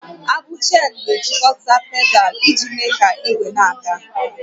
Agbụ Cheenu na-ejikọta pedal iji mee ka ígwé na-aga